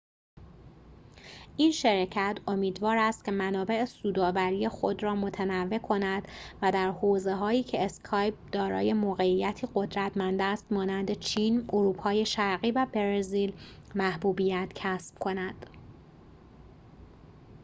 این شرکت امیدوار است که منابع سودآوری خود را متنوع کند و در حوزه‌هایی که اسکایپ دارای موقعیتی قدرتمند است مانند چین اروپای شرقی و برزیل محبوبیت کسب کند